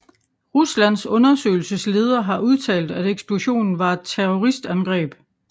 Ruslands undersøgelsesleder har udtalt at eksplosionen var et terroristangreb